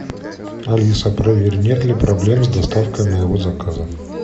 алиса проверь нет ли проблем с доставкой моего заказа